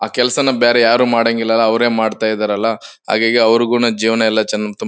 ಆ ಕೆಲ್ಸನ ಬೇರೆ ಯಾರು ಮಾಡಾಂಗಿಲ್ಲ ಅವ್ರೆ ಮಾಡ್ತಾ ಇದ್ದಾರಲ್ಲ ಹಾಗಾಗಿ ಅವ್ರುಗುನು ಜೀವನ ಎಲ್ಲಾ ಚೆನ್ನಾಗ್ ತುಮ್ --